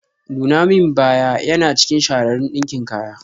Nuna min baya yana cikin shahararun ɗinkin kaya.